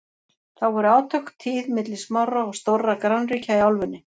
þá voru átök tíð milli smárra og stórra grannríkja í álfunni